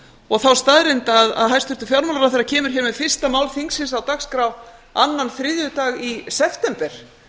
og þá staðreynd að hæstvirtur fjármálaráðherra kemur hér með fyrsta mál þingsins á dagskrá annan þriðjudag í september